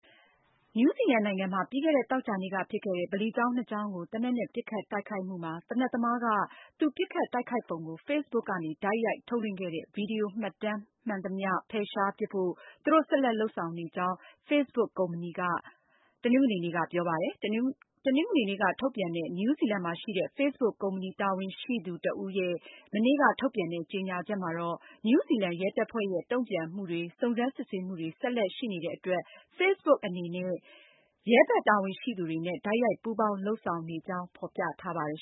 နယူးဇီလန်နိုင်ငံမှာ ပြီးခဲ့တဲ့ သောကြာနေ့ကဖြစ်ခဲ့တဲ့ ဗလီကျောင်း ၂ ကျောင်းကို သေနတ်နဲ့ ပစ်ခတ်တိုက်ခိုက်မှုမှာ သေနတ်သမားဟာ သူပစ်ခတ်တိုက်ခိုက်ပုံကို Facebook ကနေ တိုက်ရိုက် ထုတ်လွှင့်ခဲ့တဲ့ ဗွီဒီယိုမှတ်တမ်း မှန်သမျှ ဖယ်ရှားပစ်ဖို့ သူတို့ ဆက်လက် လုပ်ဆောင်နေကြောင်း Facebook ကုမ္ပဏီက တနင်္ဂနွေနေ့က ပြောပါတယ်။ တနင်္ဂနွေနေ့က ထုတ်ပြန်တဲ့ နယူးဇီလန်မှာရှိတဲ့ Facebook ကုမ္ပဏီ တာဝန်ရှိသူ Mia Garlick ရဲ့ မနေ့က ထုတ်ပြန်တဲ့ ကြေညာချက်မှာ နယူးဇီလန် ရဲတပ်ဖွဲ့ရဲ့ တုံ့ပြန်မှုတွေ၊ စုံစမ်းစစ်ဆေးမှုတွေ ဆက်လက်ရှိနေတဲ့အတွက် Facebook အနေနဲ့ ရဲဘက် တာဝန်ရှိသူတွေနဲ့ တိုက်ရိုက်ပူးပေါင်းလုပ်ဆောင်နေကြောင်း ဖေါ်ပြထားပါတယ်